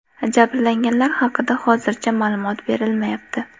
Jabrlanganlar haqida hozircha ma’lumot berilmayapti.